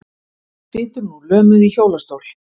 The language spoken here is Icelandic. Situr nú lömuð í hjólastól.